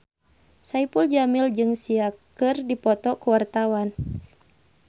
Saipul Jamil jeung Sia keur dipoto ku wartawan